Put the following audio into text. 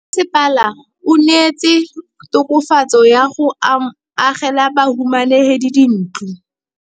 Mmasepala o neetse tokafatsô ka go agela bahumanegi dintlo.